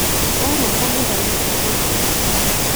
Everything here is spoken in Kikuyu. Wauma kanitha-inĩ ũgũthiĩ kũũ?